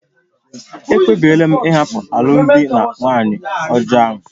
Ekpebiri m ịhapụ alụmdi na nwunye ọjọọ a